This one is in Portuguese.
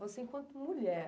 Você, enquanto mulher,